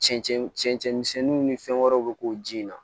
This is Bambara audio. Cɛncɛn misɛnninw ni fɛn wɛrɛw bɛ k'o ji in na